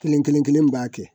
Kelen kelen kelen b'a kɛ